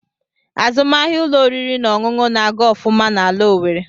Azụmahịa ụlọ oriri na ọṅụṅụ na-aga ofuma n'ala Owerre.